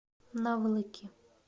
наволоки